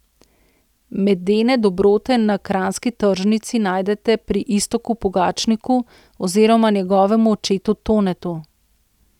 Medene dobrote na kranjski tržnici najdete pri Iztoku Pogačniku oziroma njegovem očetu Tonetu.